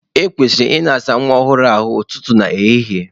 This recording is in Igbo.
E kwesịrị ị na-asa nwa ọhụrụ ahụ ụtụtụ na ehihie.